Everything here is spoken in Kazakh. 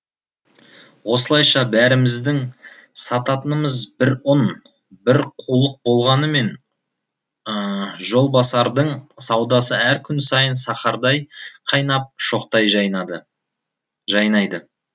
осылайша бәріміздің сататынымыз бір ұн бір қулық болғанымен жолбасардың саудасы әр күн сайын сахардай қайнап шоқтай жайнайды